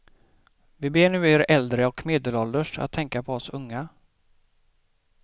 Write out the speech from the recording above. Vi ber nu er äldre och medelålders att tänka på oss unga.